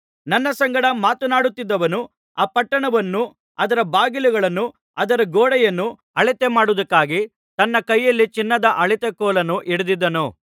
ನನ್ನ ಸಂಗಡ ಮಾತನಾಡುತ್ತಿದ್ದವನು ಆ ಪಟ್ಟಣವನ್ನೂ ಅದರ ಬಾಗಿಲುಗಳನ್ನೂ ಅದರ ಗೋಡೆಯನ್ನೂ ಅಳತೆ ಮಾಡುವುದಕ್ಕಾಗಿ ತನ್ನ ಕೈಯಲ್ಲಿ ಚಿನ್ನದ ಅಳತೆ ಕೋಲನ್ನು ಹಿಡಿದಿದ್ದನು